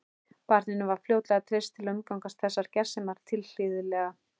Barninu var fljótlega treyst til að umgangast þessar gersemar tilhlýðilega.